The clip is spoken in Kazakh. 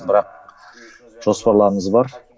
бірақ жоспарларымыз бар